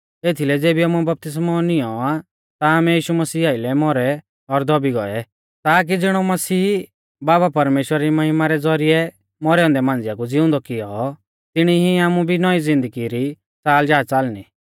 एथीलै ज़ेबी आमुऐ बपतिस्मौ नियौं आ ता आमै यीशु मसीह आइलै मौरै और दौबी गौऐ ताकि ज़िणौ मसीह बाबा परमेश्‍वरा री महिमा रै ज़ौरिऐ मौरै औन्दै मांझ़िआ कु ज़िउंदौ किऔ तिणी ई आमु भी नौईं ज़िन्दगी री च़ाल जा च़ालणी